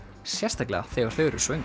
sérstaklega þegar þau eru svöng